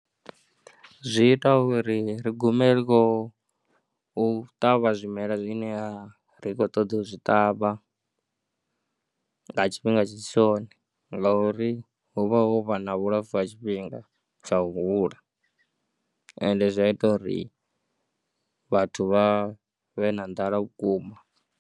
Zwi ita uri ri gume ri khou ṱavha zwimela zwine a ri khou ṱoḓa u zwi ṱavha nga tshifhinga tshi si tshone ngauri hu vha ho vha na vhulapfhu ha tshifhinga tsha u hula ende zwa ita uri vhathu vha vhe na nḓala vhukuma.